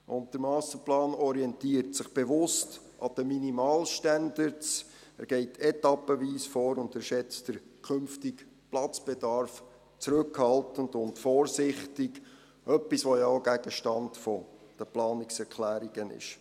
Zudem orientiert sich der Masterplan bewusst an den Minimalstandards, geht etappenweise vor und schätzt den künftigen Platzbedarf zurückhaltend und vorsichtig ein – etwas, das ja auch Gegenstand der Planungserklärungen ist.